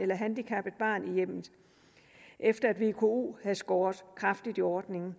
eller handicappet barn i hjemmet efter at vko havde skåret kraftigt i ordningen